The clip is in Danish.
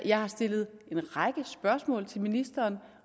jeg har stillet en række spørgsmål til ministeren